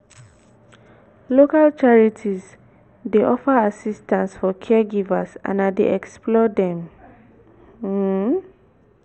local charities dey offer assistance for caregivers and i dey explore dem. um